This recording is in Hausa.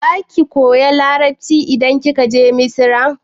Za ki koya Larabci idan kika je Misra?